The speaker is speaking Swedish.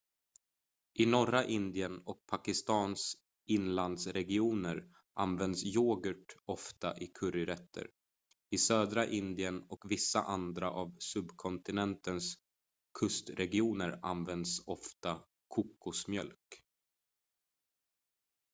i norra indien och pakistans inlandsregioner används yoghurt ofta i curryrätter i södra indien och vissa andra av subkontinentens kustregioner används ofta kokosmjölk